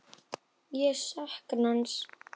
Ég sakna hans.